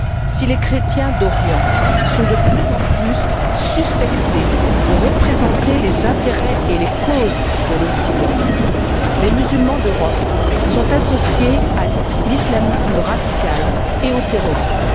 Si les chrétiens d'Orient sont de plus en plus suspectés de représenter les intérêts et les causes de l'Occident, les musulmans d'Europe sont associés à l'islamisme radical et au terrorisme.